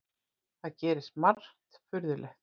Það gerist margt furðulegt.